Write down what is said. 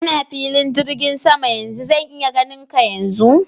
Ina filin jirgin saman yanzu. Zan iya ganin ka yanzu?